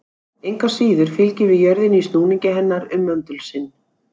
Engu að síður fylgjum við jörðinni í snúningi hennar um möndul sinn.